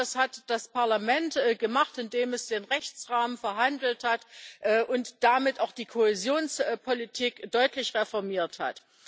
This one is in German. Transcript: Ich glaube, das hat das Parlament gemacht, indem es den Rechtsrahmen verhandelt hat und damit auch die Kohäsionspolitik deutlich reformiert hat.